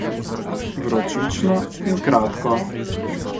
Vročično in kratko.